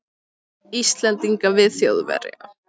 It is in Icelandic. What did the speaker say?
Íslendinga við Þjóðverja.